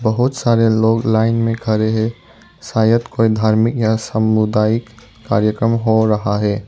बहुत सारे लोग लाइन में खड़े हैं शायद कोई धार्मिक या सामुदायिक कार्यक्रम हो रहा है।